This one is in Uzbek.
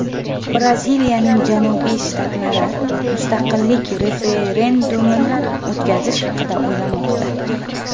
Braziliyaning janubiy shtatlari mustaqillik referendumini o‘tkazish haqida o‘ylamoqda.